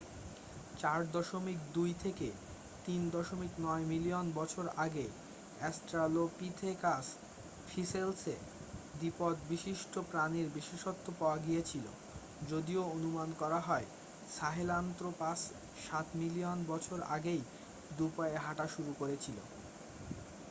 4.2-3.9 million বছর আগে Australopithecus ফসিলসে দ্বিপদ বিশিষ্ট প্রাণীর বিশেষত্ব পাওয়া গিয়েছিল যদিও অনুমান করা হয় সাহেলান্ত্রপাস সাত মিলিয়ন বছর আগেই দু'পায়ে হাঁটা শুরু করেছিল।